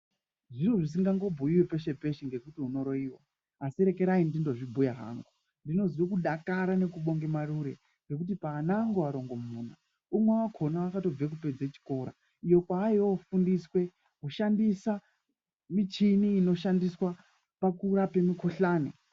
Zviri zvisingangobhuiwi peshe-peshe ngekuti unoroiwa, asi rekerai ndindozvibhuya hangu. Ndinozwe kudakara nekubonge marure ngekuti paana angu arongomuna umwe wakhona wakatobve kupedze chikora iyo kwaiyofundiswe kushandisa michini inoshandiswa pakurape mikhuhlani.